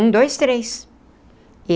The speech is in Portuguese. Um, dois, três.